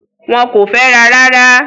Wọ́n kò fẹ́ra rárá.